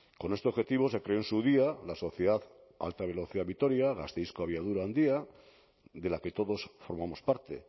con este objetivo se creó en su día la sociedad alta velocidad vitoria gasteizko abiadura handia de la que todos formamos parte